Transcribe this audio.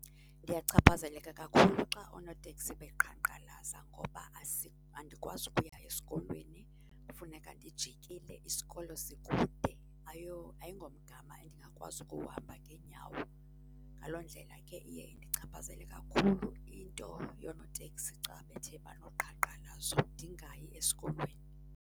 Ndiyachaphazeleka kakhulu xa oonoteksi beqhankqalaza ngoba andikwazi ukuya esikolweni, kufuneka ndijikile, isikolo sikude ayingomgama endingakwazi ukuwuhamba ngeenyawo. Ngaloo ndlela ke iye indichaphazele kakhulu into yoonoteksi xa bethe banoqhankqalazo ndingayi esikolweni.